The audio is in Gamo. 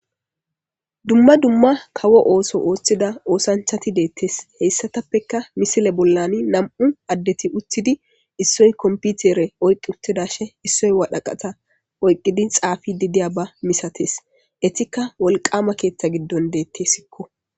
Dumma dumma kawo ooso ooththida oosanchchathi deeththes; heyssathapekka misile bollani nam7u addethi uththidi issoy komppithere oyqqi uththidashe issoy wadhaqatha oyqqidi xaafiiddi diyaaba misathes; ethikka wolqqaama keeththa giddon deeththeesikko.